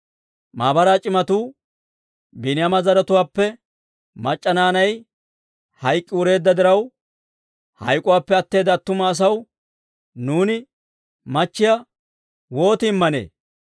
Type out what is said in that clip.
Maabaraa c'imatuu, «Biiniyaama zaratuwaappe mac'c'a naanay hayk'k'i wureedda diraw, hayk'k'uwaappe atteeda attuma asaw nuuni machchiyaa wooti immanee?